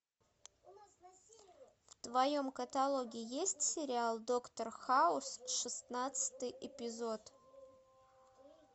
в твоем каталоге есть сериал доктор хаус шестнадцатый эпизод